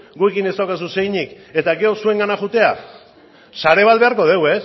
gurekin ez daukazu zer eginik eta gero zurengana joatea sare bat beharko dugu